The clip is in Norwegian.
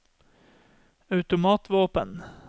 automatvåpen